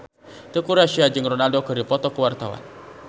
Teuku Rassya jeung Ronaldo keur dipoto ku wartawan